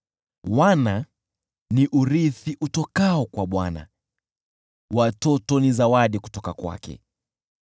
Wana ni urithi utokao kwa Bwana , watoto ni zawadi kutoka kwake.